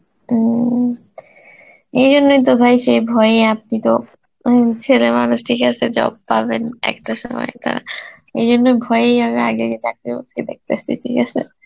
উম এই জন্য তো ভাই সেই ভয়ে আপনি তো উম মানুষটির কাছে job পাবেন একটা সময়টা, এই জন্য ভয়েই আমি আগে আগে চাকরি দেখতাসি, ঠিক আছে?